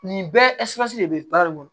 Nin bɛɛ de bɛ balo